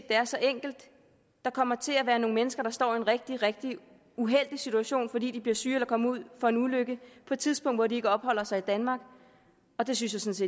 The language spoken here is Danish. er så enkelt der kommer til at være nogle mennesker der står i en rigtig rigtig uheldig situation fordi de bliver syge eller kommer ud for en ulykke på et tidspunkt hvor de ikke opholder sig i danmark og det synes